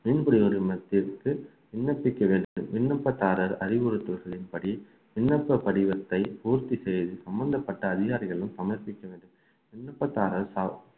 மீன்துறை அலுவலகத்திற்கு விண்ணப்பிக்க வேண்டும் விண்ணப்பத்தாரர் அறிவுறுத்தல்களின்படி விண்ணப்ப படிவத்தை பூர்த்தி செய்து சம்பந்தப்பட்ட அதிகாரிகளும் சமர்ப்பிக்க வேண்டும் விண்ணப்பத்தார் ச~